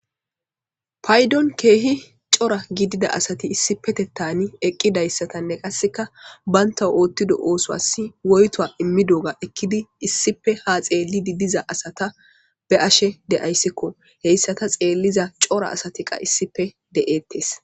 Paydon keehi cora gidida asati issi petettani eqqidayssatanne qasseka baynta oottido oosas woyto immidoga ekkidi issife ha xeellidi diza asata be ashe de ayssikko heyssa ta xeelliza cora asatiqa issife de'eettes